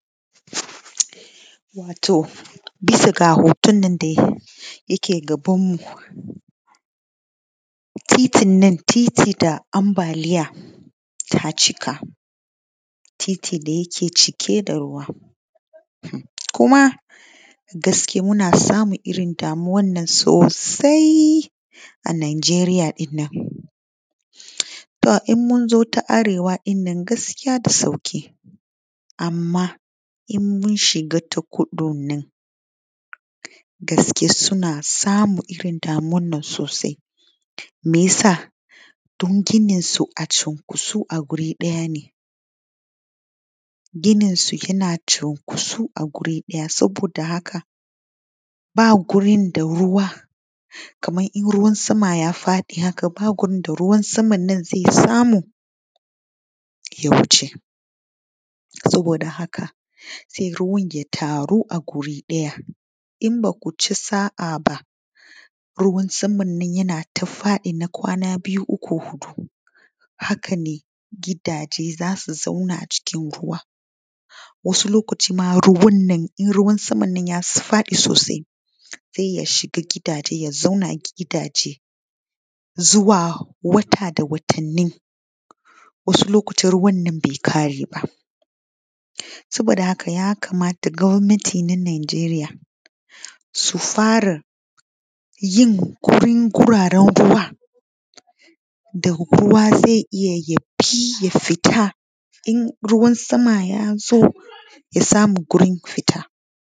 Wato bisa ga hotonnon da yake ga banmu, titinnan titi da ambaliya ta cika. Titi da yaka cike da ruwa kuma dashi ke muna samun damu wannan sosai a najeriya. To in munzo ta arewa ɗinnan gaskiya da sauƙi amma idan mun shiga ta kudun nan da yake suna samun damuwan nan sosai. Me yasa? Dan ginin su a cunkushe a guri ɗaya ne, ginin su yana cunkushe a guri ɗaya saboda haka ba ba gurin da ruwa Kaman ruwan sama ya faɗi haka ba gurin da ruwan samanna zai samu yay a wuce. Saboda haka zaizo ya taru a guri ɗaya. In bakuci sa’a ba ruwan samman yana ta zuba na kwana biyu ko huɗu haka ne gidaje zasu dinga zama a cikin ruwa wasu lokaci ma in ruwan nan in samman ya faɗi sosai zai iyya shiga gidaje. Zuwa wata da watanni wasu lokaci ruwan bai ƙare ba saboda haka gwamani na najeriya su fara tunanin yin guraren ruwa da ruwa zai iyya fita in ruwan sama yazo ya samu wurin fita.